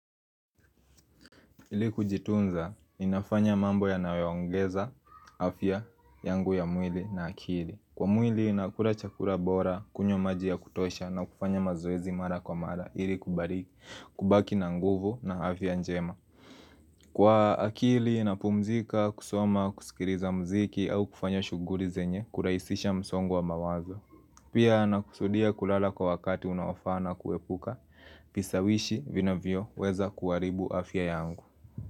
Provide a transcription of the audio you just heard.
Ili kujitunza, ninafanya mambo yanayoongeza, afya, yangu ya mwili na akili Kwa mwili, nakula chakula bora, kunywa maji ya kutosha na kufanya mazoezi mara kwa mara Ili kubaki na nguvu na afya njema Kwa akili, inapumzika, kusoma, kusikiliza mziki au kufanya shughuli zenye, hurahisisha msongo wa mawazo Pia, nakusudia kulala kwa wakati unaofaa na kuepuka, vishawishi vinavyoweza kuharibu afya yangu.